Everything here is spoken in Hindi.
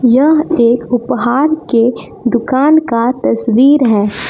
यह एक उपहार के दुकान का तस्वीर है।